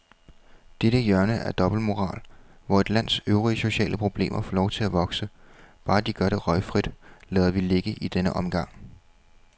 Dette hjørne af dobbeltmoral, hvor et lands øvrige sociale problemer får lov at vokse, bare de gør det røgfrit, lader vi ligge i denne omgang.